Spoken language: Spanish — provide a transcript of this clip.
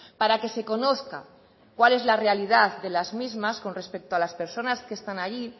para que se conozca cuál es la realidad de las mismas con respecto a las personas que están ahí